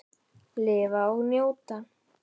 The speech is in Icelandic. Lifa og njóta.